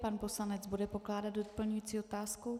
Pan poslanec bude pokládat doplňující otázku?